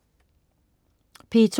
P2: